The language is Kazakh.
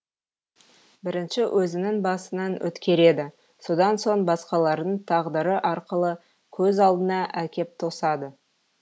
бірінші өзінің басынан өткереді содан соң басқалардың тағдыры арқылы көз алдына әкеп тосады